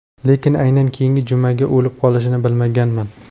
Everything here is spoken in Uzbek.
Lekin aynan keyingi jumaga o‘lib qolishini bilmaganman.